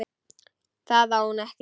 Það á hún ekki.